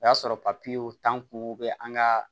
O y'a sɔrɔ papiyew t'an kun bɛ an ka